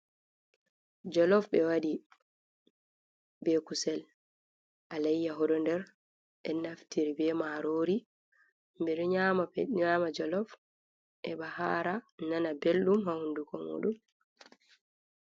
Jollof ɓe waɗi be kusel alayyahu ɗo nder, ɓe naftiri be marori, ɓe ɗo nyama jollof heɓa hara, nana belɗum ha hunduko muɗum.